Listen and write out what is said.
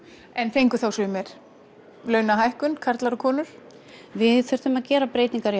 fengu sumir launahækkun karlar og konur við þurftum að gera breytingar